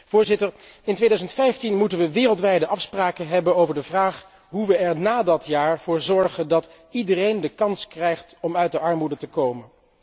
Voorzitter, in 2015 moeten wij wereldwijde afspraken hebben over de vraag hoe wij er ná dat jaar voor zorgen dat iedereen de kans krijgt om uit de armoede te komen.